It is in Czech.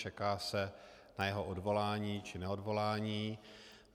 Čeká se na jeho odvolání či neodvolání.